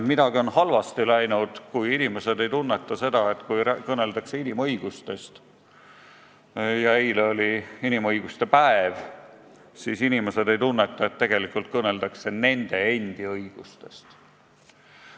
Midagi on halvasti läinud, kui inimesed ei tunneta seda, et kui räägitakse inimõigustest – eile oligi inimõiguste päev –, siis tegelikult kõneldakse nende endi õigustest.